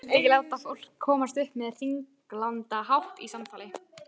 Hann vildi ekki láta fólk komast upp með hringlandahátt í samtali.